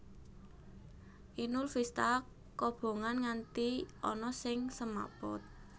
Inul Vista kobongan nganti ana sing semaput